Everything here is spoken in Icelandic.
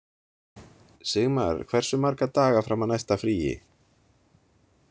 Sigmar, hversu marga daga fram að næsta fríi?